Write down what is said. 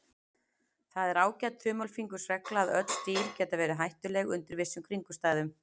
Það er ágæt þumalfingursregla að öll dýr geta verið hættuleg undir vissum kringumstæðum.